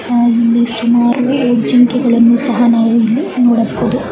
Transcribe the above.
ನಾವಿಲ್ಲಿ ಸುಮಾರು ಜಿಂಕೆಗಲ್ಲನು ಸಹ ನಾವು ಇಲ್ಲಿ ನೋಡಬಹುದು .